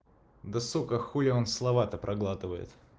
да сука хули он слова то проглатывает